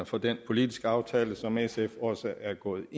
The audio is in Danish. for den politiske aftale som sf også er gået